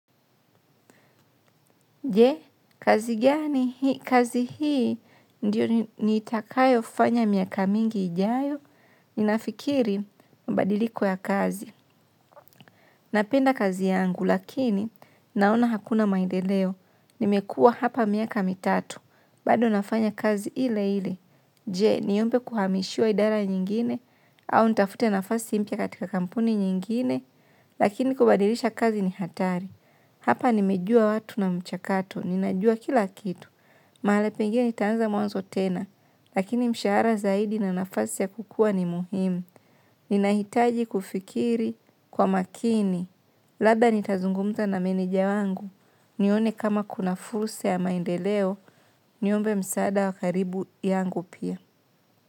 Je, kazi gani, kazi hii, ndiyo nitakayofanya miaka mingi ijayo, ninafikiri mabadiliko ya kazi. Napenda kazi yangu, lakini, naona hakuna maendeleo, nimekua hapa miaka mitatu, bado nafanya kazi ile ile. Je, niombe kuhamishiwa idara nyingine, au nitafute nafasi mpya katika kampuni nyingine, lakini kubadilisha kazi ni hatari. Hapa nimejua watu na mchakato. Ninajua kila kitu. Mahali pengine nitaanza mwanzo tena. Lakini mshahara zaidi na nafasi ya kukua ni muhimu. Ninahitaji kufikiri kwa makini. Lada nitazungumza na meneja wangu. Nione kama kuna fursa ya maendeleo. Niombe msaada wa karibu yangu pia.